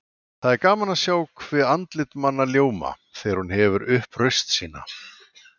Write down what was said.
Það er gaman að sjá hve andlit manna ljóma þegar hún hefur upp raust sína.